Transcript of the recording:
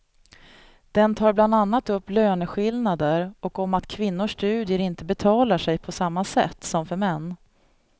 Den tar bland annat upp löneskillnader och om att kvinnors studier inte betalar sig på samma sätt som för män.